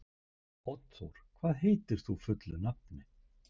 Oddþór, hvað heitir þú fullu nafni?